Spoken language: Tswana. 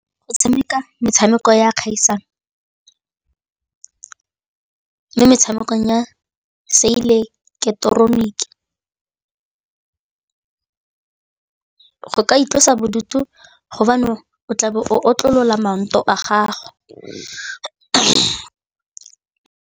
Go tshameka metshameko ya kgaisano mo metshamekong ya seileketeroniki go ka itlosa bodutu gobane o tlabe o otlolola maoto a gago.